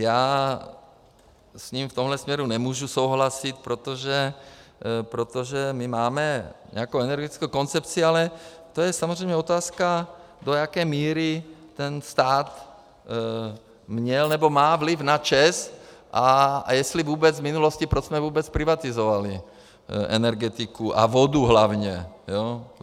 Já s ním v tomhle směru nemůžu souhlasit, protože my máme nějakou energetickou koncepci, ale to je samozřejmě otázka, do jaké míry ten stát měl nebo má vliv na ČEZ a jestli vůbec v minulosti, proč jsme vůbec privatizovali energetiku a vodu hlavně.